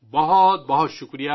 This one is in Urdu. بہت بہت شکریہ